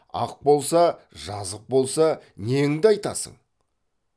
ақ болса жазық болса неңді айтасың